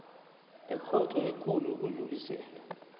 ekhotho ekulu yokudlulisela